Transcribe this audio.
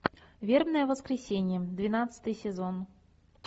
вербное воскресенье двенадцатый сезон